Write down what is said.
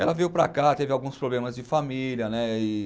Ela veio para cá, teve alguns problemas de família, né? e